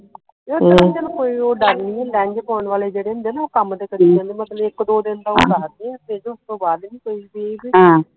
ਉਸਤਰਾ ਤੇ ਚਲੋ ਕੋਈ ਉਹ ਡਰ ਨਹੀਂ ਹੁੰਦਾ lens ਪਾਉਣ ਵਾਲੇ ਜਿਹੜੇ ਹੁੰਦੇ ਨਾ ਉਹ ਕੰਮ ਤੇ ਕਰੀ ਜਾਂਦੇ ਬਸ ਇਕ ਦੋ ਦਿਨ ਦਾ ਉਹ ਦਸਦੇ ਆ ਤੇ ਉਸਤੋਂ ਬਾਅਦ ਨਹੀਂ ਕੋਈ